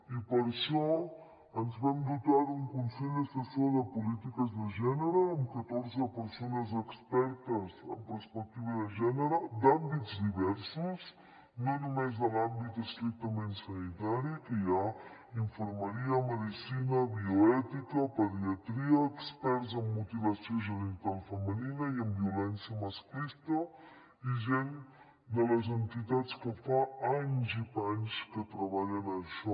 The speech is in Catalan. i per això ens vam dotar d’un consell assessor de polítiques de gènere amb catorze persones expertes en perspectiva de gènere d’àmbits diversos no només de l’àmbit estrictament sanitari en què hi ha infermeria medicina bioètica pediatria experts en mutilació genital femenina i en violència masclista i gent de les entitats que fa anys i panys que treballen en això